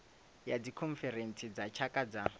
ya dzikhonferentsi dza tshaka dza